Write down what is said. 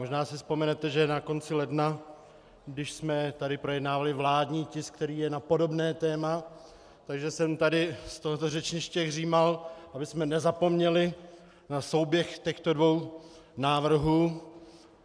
Možná si vzpomenete, že na konci ledna, když jsme tady projednávali vládní tisk, který je na podobné téma, tak jsem tady z tohoto řečniště hřímal, abychom nezapomněli na souběh těchto dvou návrhů.